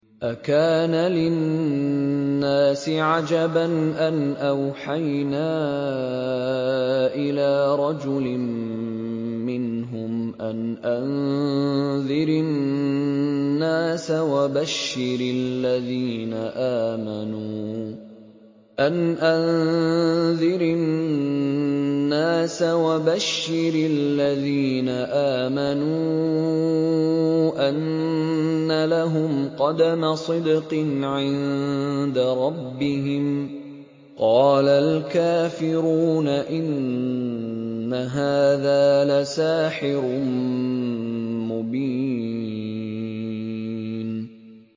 أَكَانَ لِلنَّاسِ عَجَبًا أَنْ أَوْحَيْنَا إِلَىٰ رَجُلٍ مِّنْهُمْ أَنْ أَنذِرِ النَّاسَ وَبَشِّرِ الَّذِينَ آمَنُوا أَنَّ لَهُمْ قَدَمَ صِدْقٍ عِندَ رَبِّهِمْ ۗ قَالَ الْكَافِرُونَ إِنَّ هَٰذَا لَسَاحِرٌ مُّبِينٌ